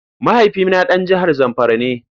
Mahaifina dan jihar Zamfara ne.